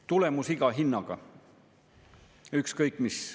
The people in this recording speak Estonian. Tulemus iga hinnaga, ükskõik mis.